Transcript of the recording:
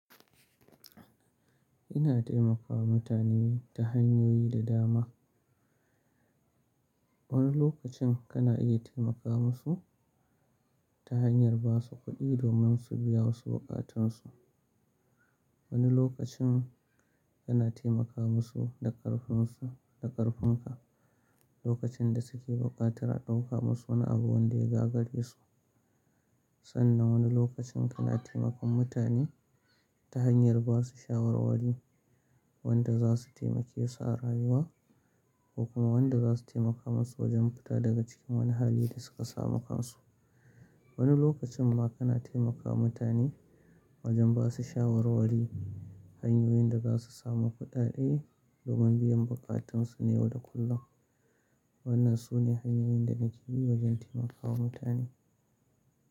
Ina taimakawa mutane ta hanyoyi da dama. Wani lokacin kana iya taimaka musu ta hanyar ba su kuɗi domin su biya wasu buƙatunsu. Wani lokacin kana taimaka musu da ƙarfin su, da ƙarfin ka. Lokacin da suke buƙatar a ɗauka musu wani abu wanda ya gagare su. Sannan wani lokacin kana taimakon mutane ta hanyar ba su shawarwari wanda za su taimake su a rayuwa, ko kuma wanda za su taimaka musu wajen fita daga cikin wani hali da su ka samu kansu. Wani lokacin ma kana taimaka mutane wajen ba su shawarwari hanyoyin da za su samu kuɗaɗe domin biyan buƙatunsu na yau da kullum. Wannan sune hanyoyin da nake bi wajen taimakawa mutane.